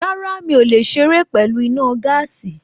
Rárá, mi ò lè ṣeré pẹ̀lú iná gáàsì